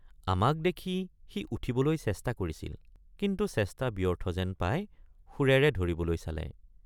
আমাক দেখি সি উঠিবলৈ চেষ্টা কৰিছিল কিন্তু চেষ্টা ব্যৰ্থ যেন পাই শুৰেৰে ধৰিবলৈ চালে।